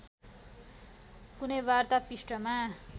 कुनै वार्ता पृष्ठमा